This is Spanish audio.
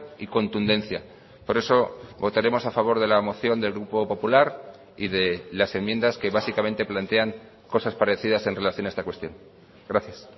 y contundencia por eso votaremos a favor de la moción del grupo popular y de las enmiendas que básicamente plantean cosas parecidas en relación a esta cuestión gracias